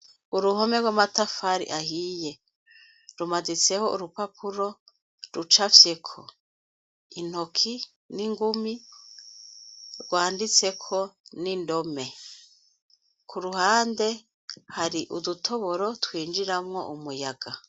Uruhome rw’amatafari ahiye, rumaditseho urupapapuro rucapfyeko , intoki n’ingumi ,rwanditseko n’indome. Kuruhande, hari udutoboro twinjiramwo umuyaga.